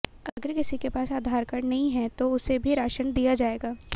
अगर किसी के पास आधार कार्ड नहीं है तो उसे भी राशन दिया जाएगा